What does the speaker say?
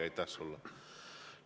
Aitäh sulle!